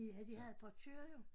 Ja de havde portør jo